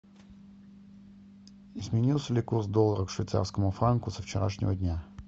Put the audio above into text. изменился ли курс доллара к швейцарскому франку со вчерашнего дня